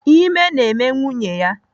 Ime na-eme nwunye ya.